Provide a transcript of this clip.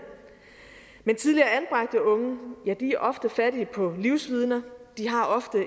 men tidligere anbragte unge er ofte fattige på livsvidner de har ofte